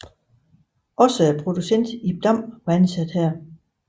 Også produceren Ib Dam var ansat her